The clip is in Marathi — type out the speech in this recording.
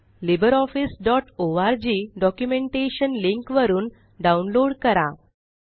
libreofficeओआरजी डॉक्युमेंटेशन लिंक वरुन डाउनलोड करा